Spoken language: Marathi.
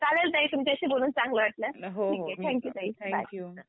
चालेल ताई तुमच्याशी बोलून चांगलं वाटलं ठीक आहे थँक्यू ताई बाय.